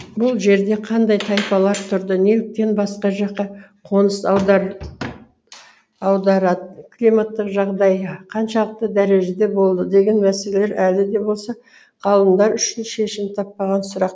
бұл жерде кандай тайпалар тұрды неліктен басқа жаққа қоныс аударад климаттық жағдайы қаншалықты дәрежеде болды деген мәселелер әлі де болса ғалымдар үшін шешімін таппаған сұрақ